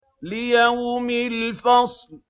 لِيَوْمِ الْفَصْلِ